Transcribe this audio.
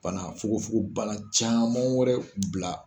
Fana fogofogobana caman wɛrɛ bila